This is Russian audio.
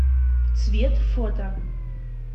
цвет фото